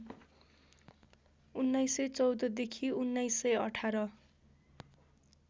१९१४ देखि १९१८